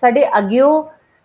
ਸਾਡੇ ਅੱਗਿਓਂ